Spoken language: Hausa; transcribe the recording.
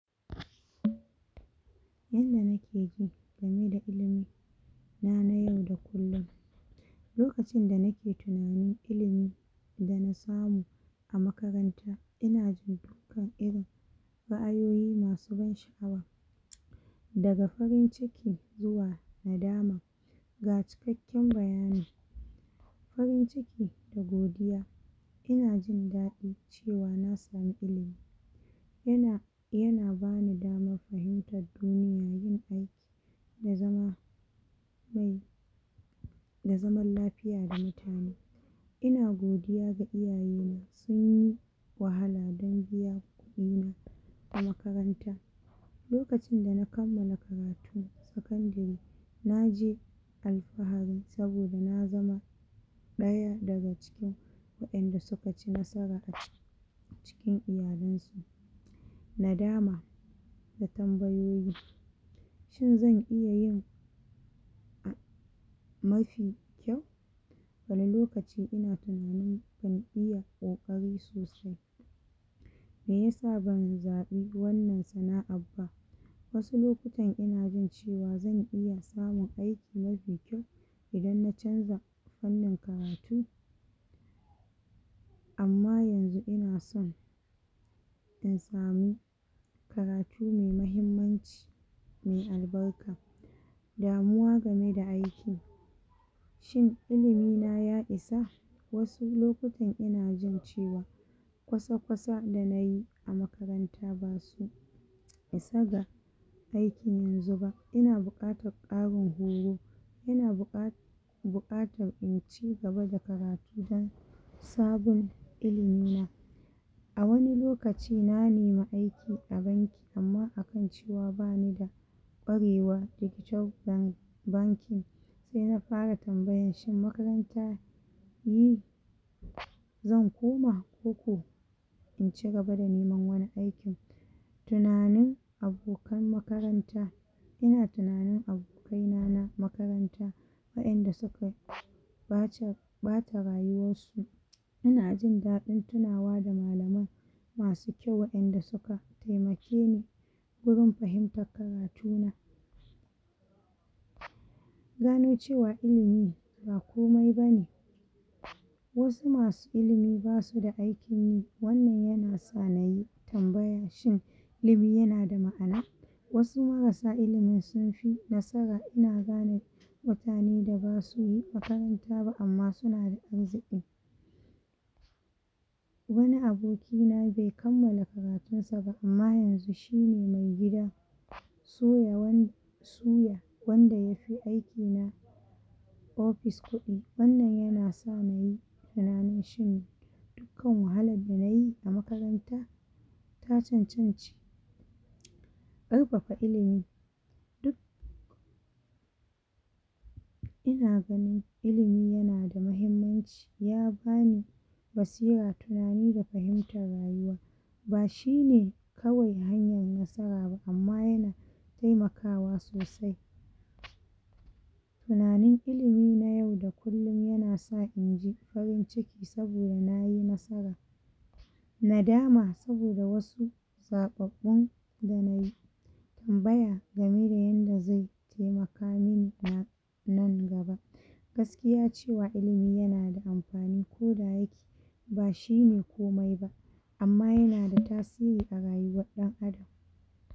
Yanda nake ji game da ilimi na nayau da kullum lokacin da nake tinanin ilimi dana samu a makaran inaji kan irin ra a yuyi masu ban sha awa daga farin ciki zuwa nadama ga ci kakken bayani Farin ciki da godiya inajin daɗi cewa nasamu ilimi yana yana bamu dama Fahimtar don yabi au yazama mai da zaman lafiya da mutane ina godiya ga iyaye sunyi wahala dan biya ɗina a makaranta lokacin da na kammala ka ratu sakadiri naje alfa harin sabpda nazama ɗaya daga cikin waƴanda sukaci nasara cikin iyalan su nadama da tambaypyi shin zan iyayin mafi kyau wani lokaci ina tinanin ban iya ƙoƙari me yasa ban zaɓi wannan sana ar ba wasu lokutan inajin cewa zan iya samun aiki mafi kyau idan na canja wannan karatu amma yanzu ina son in samu karatu me mahimmanci mai albarka da muwa game da aiki shin ilimi na ya isa wasu lokutan inajin cewa kwasa kwasa da nayi makaranta basu isa ga aiki yanzu ba inabuƙatar ƙarin horo ian buƙa buƙatar inci gaba da karatu dan sabon ilimi na awani lokaci na nemi aiki a banki amma akan cewa banida ƙwarewa yaƙi cauɗani bankin se na fara tambayan shin makaranta yi zan koma koko inci gaba da neman wani aikin tinanin abokan makaranta ina tinanin abo kaina makaranta waƴanda suka ɓaci, ɓata rayuwarsu yanajin daɗin tinawa da malaman masu kyau waƴanda suka temakeni gurin fahimtan juna gano cewa ilimi ba komai bane wasu masu ilimi basu da aikin yi wannan yanasa nayi temabaya shin lebi yanada ma'ana wasu marasa ilimi sun nasara ina gane mutane da basu yi makaranta ba amma sunada arziki wani abokina be kammala karatunsa ba amma yanzu shine mai gida suya wan suya wanda yafi aiki aufis kuɗi wanna n yanasa nayi ranan shiri kan wahalan da nayi a makaranta ta cancanti um ƙarfafa ilimi duk ina ganin ilimi yanada mahimmanci yabani basira tinanani da fahimtar rayuwa bashine kawai hanyar nasara amma yana temakawa sosai tinanani ilimi na yau da kullum yanasa inji farin ciki saboda nayi nasara nadama saboda wasu zaɓa ɓun da nayi tambaya gama da yanda ze temeka mini na nan gaba gaskiya ce cewa ilimi nada amfani ko da yake bashine ko mai ba amma yanada tasiri arayuwan dan adam